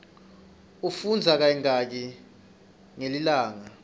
ufundza kayingaki ngelilanga